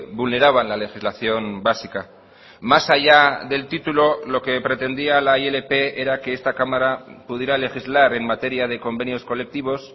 vulneraban la legislación básica más allá del título lo que pretendía la ilp era que esta cámara pudiera legislar en materia de convenios colectivos